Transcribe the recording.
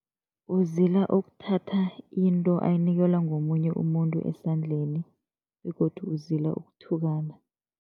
Uzila ukuthatha into ayinikelwa ngomunye umuntu esandleni begodu uzila ukuthukana.